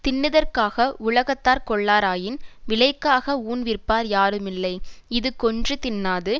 தின்னுதற்காக உலகத்தார் கொள்ளாராயின் விலைக்காக ஊன் விற்பார் யாரும் இல்லை இது கொன்று தின்னாது